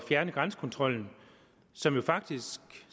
fjerne grænsekontrollen som jo faktisk